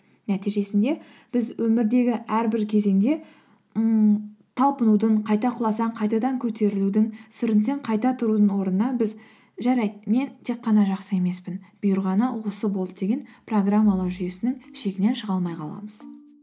нәтижесінде біз өмірдегі әрбір кезеңде ңңң талпынудың қайта құласаң қайтадан көтерілудің сүрінсең қайта тұрудың орнына біз жарайды мен тек қана жақсы емеспін бұйырғаны осы болды деген программалау жүйесінің шегінен шыға алмай қаламыз